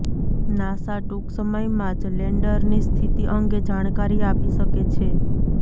NASA ટૂંક સમયમાં જ લેન્ડરની સ્થિતિ અંગે જાણકારી આપી શકે છે